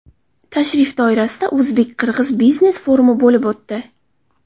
Tashrif doirasida o‘zbek-qirg‘iz biznes forumi bo‘lib o‘tdi.